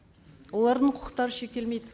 олардың құқықтары шектелмейді